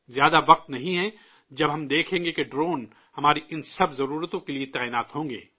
بہت وقت نہیں ہے جب ہم دیکھیں گے کہ ڈرون ہماری ان سب ضرورتوں کے لیے تعینات ہوں گے